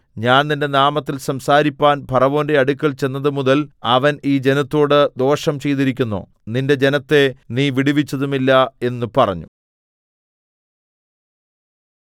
ഞാൻ നിന്റെ നാമത്തിൽ സംസാരിപ്പാൻ ഫറവോന്റെ അടുക്കൽ ചെന്നത് മുതൽ അവൻ ഈ ജനത്തോട് ദോഷം ചെയ്തിരിക്കുന്നു നിന്റെ ജനത്തെ നീ വിടുവിച്ചതുമില്ല എന്ന് പറഞ്ഞു